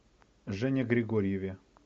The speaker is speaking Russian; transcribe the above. жене григорьеве